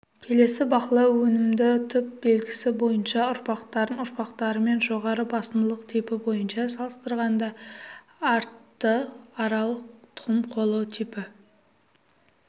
келесі бақылау өнімді түп белгісі бойынша ұрпақтарын ұрпақтарымен жоғары басымдылық типі бойынша салыстырғанда артты аралық тұқым қуалау типі